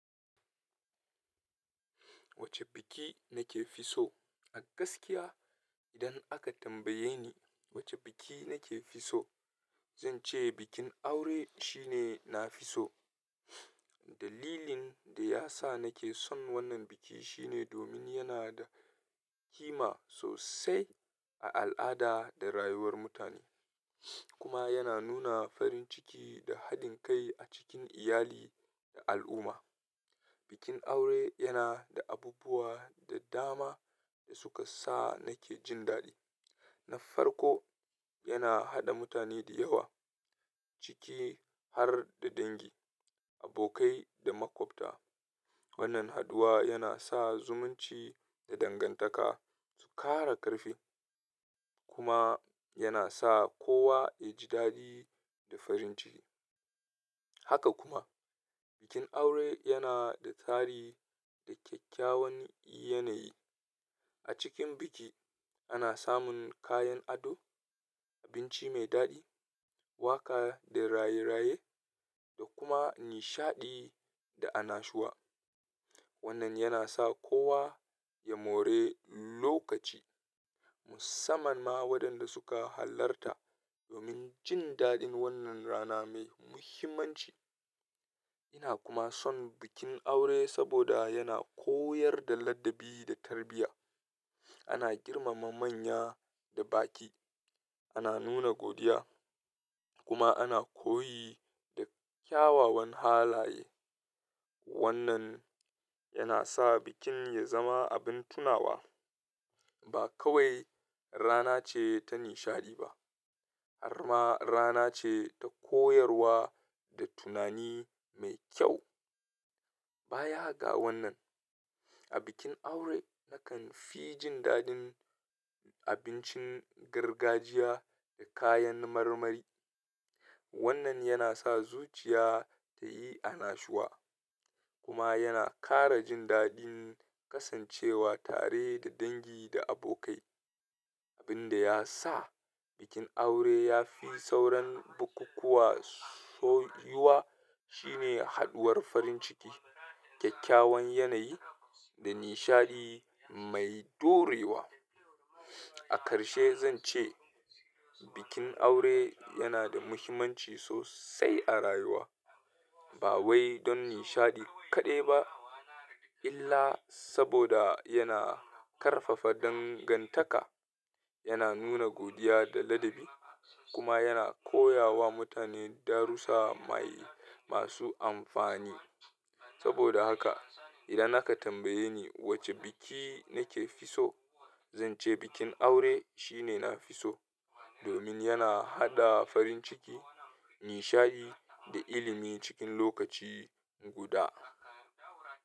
Wacce biki nake fi so? A gaskiya idan aka tambaye ni wacce biki nake fi so, zan ce bikin aure shine na fi so. Dalilin da ya sa nake son wannan biki shine domin yana da ƙima sosai a al'ada da rayuwar mutane, kuma yana nuna farin ciki da haɗin kai a cikin iyali da al'umma. Bikin aure yana da abubuwa da dama da suka sa nake jin daɗi. Na farko, yana haɗa mutane da yawa ciki har da dangi, abokai da makwabta. Wannan haduwa yana sa zumunci da dangantaka su ƙara ƙarfi kuma yana sa kowa ya ji daɗi da farin ciki. Haka kuma, bikin aure yana da tsari da kyakkyawan yanayi. A cikin biki ana samun kayan ado, abinci mai daɗi, waƙa da raye-raye da kuma nishaɗi da annashuwa. Wannan yana sa kowa ya more lokaci musamman ma waɗanda suka halarta domin jin daɗin wannan rana mai muhimmanci. Ina kuma son bikin aure saboda yana koyar da ladabi da tarbiyya. Ana girmama manya da baƙi, ana nuna godiya kuma ana koyi da kyawawan halaye. Wannan yana sa bikin ya zama abin tunawa. Ba kawai rana ce ta nishaɗi ba, har ma rana ce ta koyarwa da tunani mai kyau. Baya ga wannan, a bikin aure nakan fi jin daɗin abincin gargajiya da kayan marmari. Wannan yana sa zuciya ta yi annashuwa kuma yana ƙara jin daɗin kasancewa tare da dangi da abokai. Abin da ya sa bikin aure ya fi sauran bukukuwa soyuwa shine haɗuwar farin ciki, kyakkyawan yanayi da nishaɗi mai ɗorewa. A karshe zan ce bikin aure yana da muhimmanci sosai a rayuwa, ba wai don nishaɗi kaɗai ba illa saboda yana ƙarfafa dangantaka, yana nuna godiya da ladabi kuma yana koya wa mutane darussa mai masu amfani. Saboda haka idan aka tambaye ni wacce biki nake fi so, zan ce bikin aure shine na fi so domin yana haɗa farin ciki, nishaɗi da ilimi cikin lokaci guda.